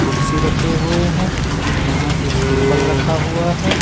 कुर्सी रखे हुए हैं यहां एक टेबल रखा हुआ है।